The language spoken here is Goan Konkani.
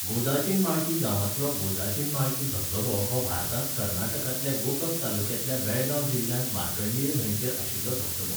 गोदाचिनमाळकी गांवांतलो गोदाचिनमाळकी धबधबो हो भारतांत कर्नाटकांतल्या गोकक तालुकांतल्या बेळगांव जिल्ह्यांत मार्कंडेय न्हंयचेर आशिल्लो धबधबो.